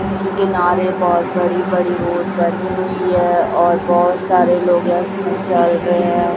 इस किनारे बहोत बड़ी-बड़ी रोड बनी हुई है और बहोत सारे लोग है उसमें चल रहे है।